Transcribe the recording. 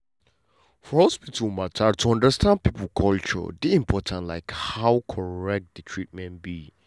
for for hospital matter to understand people culture dey important like how correct the treatment be.